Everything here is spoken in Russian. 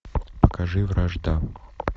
покажи вражда